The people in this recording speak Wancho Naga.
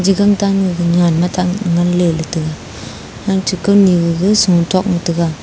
age gang tan me nen ngan le taiga ache kawni gaga shua tok ma taiga.